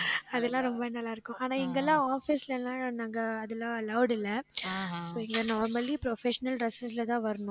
அதெல்லாம் ரொம்ப நல்லா இருக்கும். ஆனால் இங்க எல்லாம் office ல எல்லாம் நாங்க அதெல்லாம் allowed இல்லை இங்க normally professional dress லதான் வரணும்.